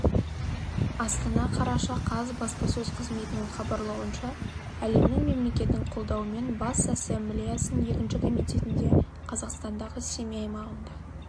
астана қараша қаз баспасөз қызметінің хабарлауынша әлемнің мемлекетінің қолдауымен бас ассамблеясының екінші комитетінде қазақстандағы семей аймағында